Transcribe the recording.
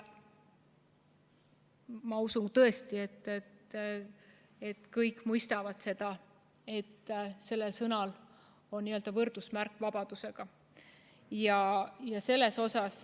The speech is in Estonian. Ma tõesti usun, et kõik mõistavad, et see on võrdne vabadusega.